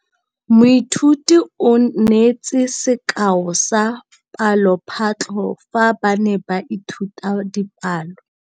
Moithuti o neetse sekaô sa palophatlo fa ba ne ba ithuta dipalo.